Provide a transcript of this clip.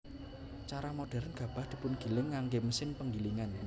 Cara modhèrn gabah dipungiling nganggé mesin panggilingan